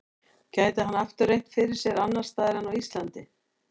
Gæti hann aftur reynt fyrir sér annars staðar en á Íslandi?